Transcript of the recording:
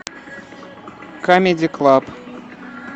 камеди клаб